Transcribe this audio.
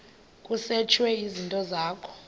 kusetshwe izinto zakho